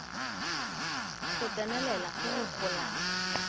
go tsenelela go go golang